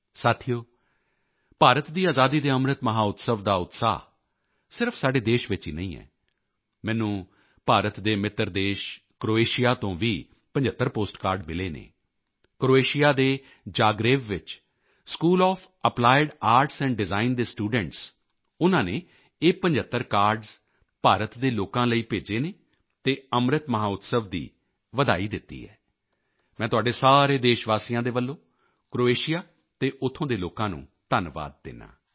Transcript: ਸਾਥੀਓ ਭਾਰਤ ਦੀ ਆਜ਼ਾਦੀ ਕੇ ਅੰਮ੍ਰਿਤ ਮਹੋਤਸਵ ਦਾ ਉਤਸ਼ਾਹ ਸਿਰਫ਼ ਸਾਡੇ ਦੇਸ਼ ਵਿੱਚ ਹੀ ਨਹੀਂ ਹੈ ਮੈਨੂੰ ਭਾਰਤ ਦੇ ਮਿੱਤਰ ਦੇਸ਼ ਕ੍ਰੋਏਸ਼ੀਆ ਤੋਂ ਵੀ 75 ਪੋਸਟਕਾਰਡ ਮਿਲੇ ਹਨ ਕ੍ਰੋਏਸ਼ੀਆ ਦੇ ਜਾਗ੍ਰੇਵ ਵਿੱਚ school of applied arts and design ਦੇ ਸਟੂਡੈਂਟਸ ਉਨ੍ਹਾਂ ਨੇ ਇਹ 75 ਕਾਰਡਜ਼ ਭਾਰਤ ਦੇ ਲੋਕਾਂ ਲਈ ਭੇਜੇ ਹਨ ਅਤੇ ਅੰਮ੍ਰਿਤ ਮਹੋਤਸਵ ਦੀ ਵਧਾਈ ਦਿੱਤੀ ਹੈ ਮੈਂ ਤੁਹਾਡੇ ਸਾਰੇ ਦੇਸ਼ਵਾਸੀਆਂ ਦੇ ਵੱਲੋਂ ਕ੍ਰੋਏਸ਼ੀਆ ਅਤੇ ਉੱਥੋਂ ਦੇ ਲੋਕਾਂ ਨੂੰ ਧੰਨਵਾਦ ਦਿੰਦਾ ਹਾਂ